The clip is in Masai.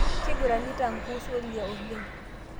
Keiguranita nkuus oldia oleng